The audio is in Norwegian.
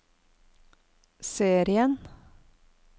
serien